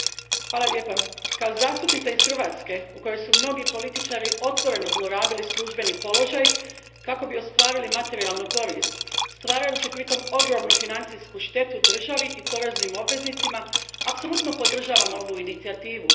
Gospodine predsjedniče, kao zastupnica iz Hrvatske u kojoj su mnogi političari otvoreno zlorabili službeni položaj kako bi ostvarili materijalnu korist, stvarajući pritom ogromnu financijsku štetu državi i poreznim obveznicima, apsolutno podržavam ovu inicijativu.